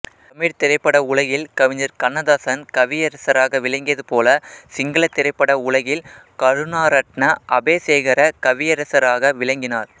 தமிழ் திரைப்பட உலகில் கவிஞர் கண்ணதாசன் கவியரசராக விளங்கியது போல சிங்கள திரைப்பட உலகில் கருணாரட்ண அபேசேகர கவியரசராக விளங்கினார்